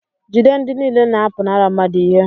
jide ndị niile na-apụnara mmadụ ihe